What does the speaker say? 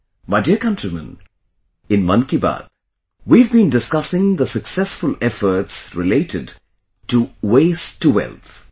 My dear countrymen, in 'Mann Ki Baat' we have been discussing the successful efforts related to 'waste to wealth'